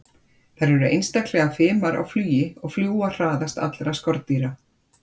Þær eru einstaklega fimar á flugi og fljúga hraðast allra skordýra.